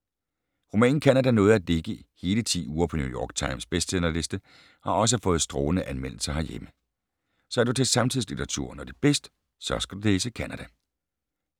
Romanen Canada nåede at ligge hele 10 uger på New York Times bestsellerliste, og har også fået strålende anmeldelser herhjemme. Så er du til samtidslitteratur, når det er bedst, så skal du læse Canada.